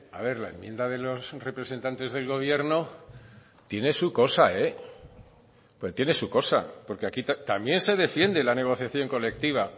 a ver la enmienda de los representantes del gobierno tiene su cosa tiene su cosa porque aquí también se defiende la negociación colectiva